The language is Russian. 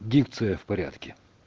дикция в порядке